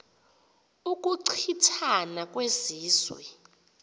ukuchi thana kwezizwe